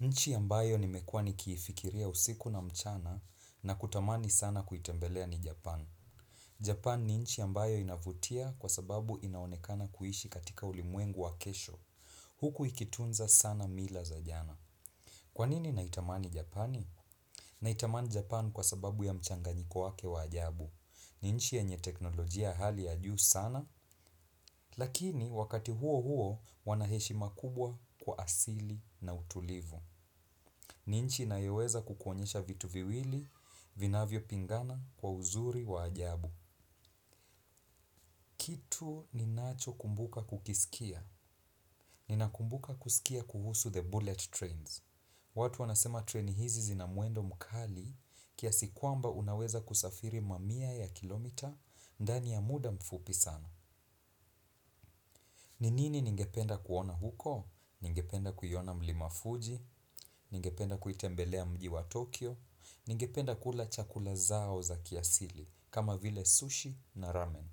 Nchi ambayo nimekuwa ni kifikiria usiku na mchana na kutamani sana kuitembelea ni Japan. Japan ni nchi ambayo inavutia kwa sababu inaonekana kuhishi katika ulimwengu wa kesho. Huku ikitunza sana mila za jana. Kwanini naitamani Japani? Naitamani Japan kwa sababu ya mchanganyiko wake wa ajabu. Ni nchi yenye teknolojia hali ya juu sana, lakini wakati huo huo wanaheshima kubwa kwa asili na utulivu. Ni nchi inyoweza kukuonyesha vitu viwili, vinavyo pingana, kwa uzuri, wa ajabu. Tuo ni nacho kumbuka kukisikia. Nina kumbuka kusikia kuhusu the bullet trains. Watu wanasema train hizi zinamwendo mkali, kiasi kwamba unaweza kusafiri mamia ya kilometa, ndani ya muda mfupi sana. Ninini ningependa kuona huko? Ningependa kuiona mlima fuji. Ningependa kuitembelea mji wa Tokyo. Ni ngependa kula chakula zao za kiasili kama vile sushi na ramen.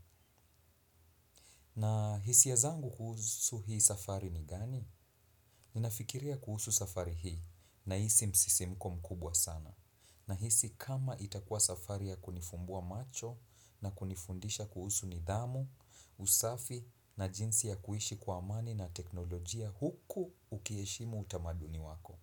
Na hisia ymzangu kuhusu hii safari ni gani? Ninafikiria kuhusu safari hii na hisi msisimko mkubwa sana. Na hisi kama itakua safari ya kunifumbua macho na kunifundisha kuhusu nidhamu, usafi na jinsi ya kuishi kwa amani na teknolojia huku ukieheshimu utamaduni wako.